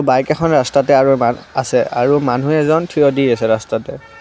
Bike এখন ৰাস্তাতে আৰু এব আছে আৰু মানুহ এজন থিয় দি আছে ৰাস্তাতে।